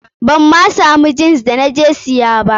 Ban ma samu jins da na je siya ba.